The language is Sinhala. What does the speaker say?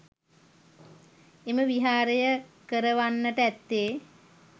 එම විහාරය කරවන්නට ඇත්තේ